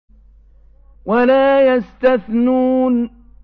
وَلَا يَسْتَثْنُونَ